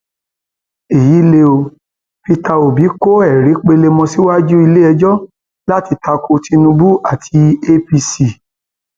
èyí lè o peter obi kọ ẹrí pelemọ síwájú iléẹjọ láti ta ko tinubu àti apc